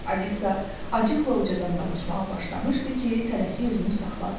Alisa acıqla uca danışmağa başlamışdı ki, tələsik özünü saxladı.